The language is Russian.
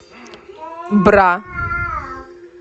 бра